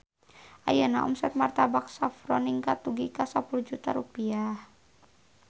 Ayeuna omset Martabak Saffron ningkat dugi ka 10 juta rupiah